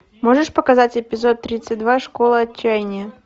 можешь показать эпизод тридцать два школа отчаяния